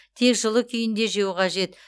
тек жылы күйінде жеу қажет